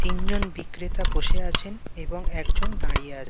তিনজন বিক্রেতা বসে আছেন এবং একজন দাঁড়িয়ে আছেন।